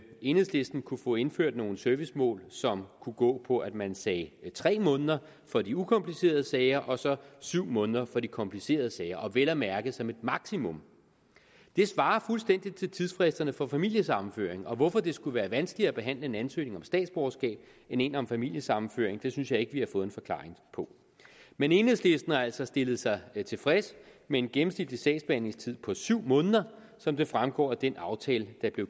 enhedslisten kunne få indført nogle servicemål som kunne gå på at man sagde tre måneder for de ukomplicerede sager og så syv måneder for de komplicerede sager og vel at mærke som et maksimum det svarer fuldstændig til tidsfristerne for familiesammenføring og hvorfor det skulle være vanskeligere at behandle en ansøgning om statsborgerskab end en om familiesammenføring synes jeg ikke vi har fået en forklaring på men enhedslisten har altså stillet sig tilfreds med en gennemsnitlig sagsbehandlingstid på syv måneder som det fremgår af den aftale der blev